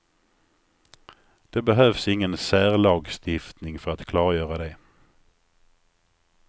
Det behövs ingen särlagstiftning för att klargöra det.